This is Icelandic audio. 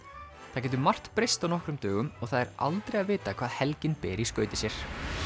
það getur margt breyst á nokkrum dögum og það er aldrei að vita hvað helgin ber með í skauti sér